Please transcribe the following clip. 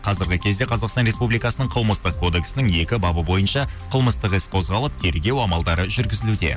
қазіргі кезде қазақстан республикасының қылмыстық кодексінің екі бабы бойынша қылмыстық іс қозғалып тергеу амалдары жүргізілуде